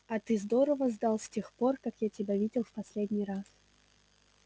а ты здорово сдал с тех пор как я тебя видел в последний раз